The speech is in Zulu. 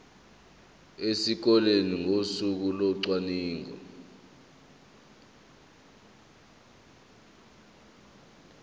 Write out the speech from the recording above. esikoleni ngosuku locwaningo